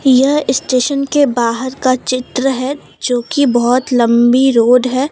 यह स्टेशन के बाहर का चित्र है जोकि बहुत लम्बी रोड है।